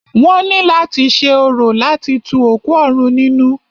Wọ́n ní láti ṣe orò láti tu òkú òrun nínú.